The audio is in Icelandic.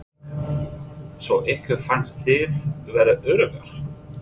Erla Björg: Svo ykkur fannst þið vera öruggar?